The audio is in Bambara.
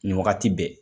Nin wagati bɛɛ